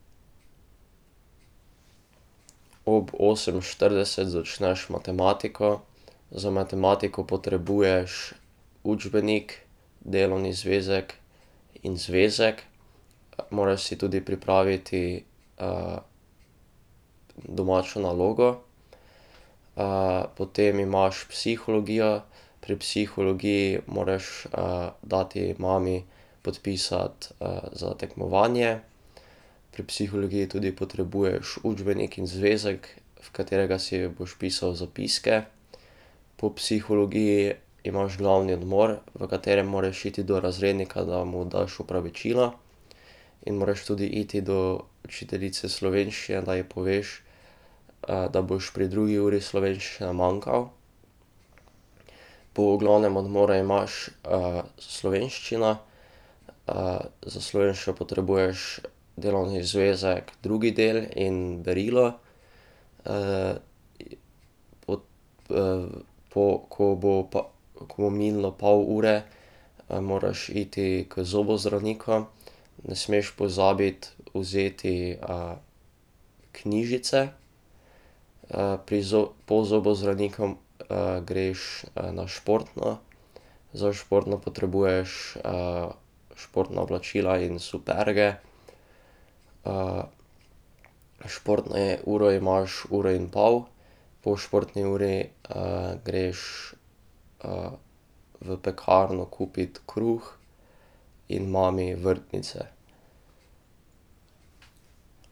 Ob osem štirideset začneš matematiko, za matematiko potrebuješ učbenik, delovni zvezek in zvezek, moraš si tudi pripraviti domačo nalogo ... potem imaš psihologijo, pri psihologiji moraš dati mami podpisati za tekmovanje. Pri psihologiji tudi potrebuješ učbenik in zvezek, v katerega si boš pisal zapiske. Po psihologiji imaš glavni odmor, v katerem moraš iti do razrednika, da mu daš opravičila in moraš tudi iti do učiteljice slovenščine, da ji poveš da boš pri drugi uri slovenščine manjkal. Po glavnem odmoru imaš slovenščina, za slovenščino potrebuješ delovni zvezek drugi del in berilo, po ko bo pa, ko bo minilo pol ure, moraš iti k zobozdravniku, ne smeš pozabiti vzeti knjižice. pri po zobozdravniku greš na športno. Za športno potrebuješ športna oblačila in superge, športne uro imaš uro in pol, po športni uri greš v pekarno kupit kruh in mami vrtnice.